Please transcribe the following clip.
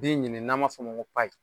Den ɲini n'an ma f'o ma ko